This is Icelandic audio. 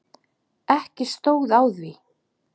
Ekki stóð á því.